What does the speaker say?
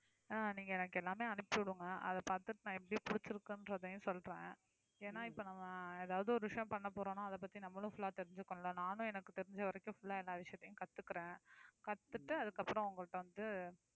அஹ் நீங்க எனக்கு எல்லாமே அனுப்பிச்சு விடுங்க அதை பார்த்துட்டு நான் எப்படி புடிச்சிருக்குன்னு சொல்றேன் ஏன்னா இப்ப நம்ம ஏதாவது ஒரு விஷயம் பண்ண போறோம்னா அதை பத்தி நம்மளும் full ஆ தெரிஞ்சுக்குனும்ல நானும் எனக்கு தெரிஞ்ச வரைக்கும் full ஆ எல்லா விஷயத்தையும் கத்துக்குறேன் கத்துட்டு அதுக்கப்புறம் உங்கள்ட்ட வந்து